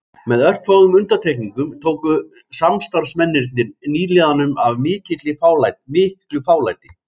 Með örfáum undantekningum tóku samstarfsmennirnir nýliðanum af miklu fálæti